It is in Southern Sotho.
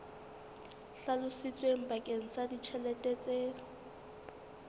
hlalositsweng bakeng sa ditjhelete tse